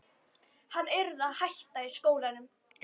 Hann yrði að hætta í skólanum!